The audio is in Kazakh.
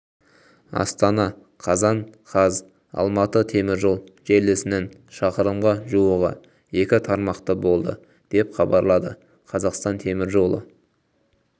астана қазан қаз алматы теміржол желісінің шақырымға жуығы екі тармақты болды деп хабарлады қазақстан темір жолы